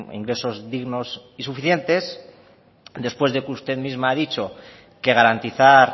ingresos dignos y suficientes después de que usted misma ha dicho que garantizar